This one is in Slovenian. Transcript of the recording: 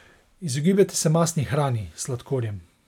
Izogibajte se mastni hrani, sladkorjem.